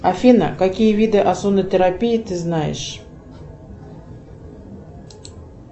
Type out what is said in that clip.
афина какие виды озонотерапии ты знаешь